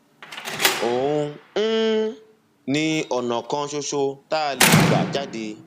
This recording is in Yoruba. òun um ni ọnà kan ṣoṣo tá a lè gbà jáde